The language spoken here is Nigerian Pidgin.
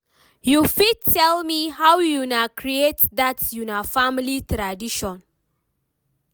you fit tell me how una create that una family tradition?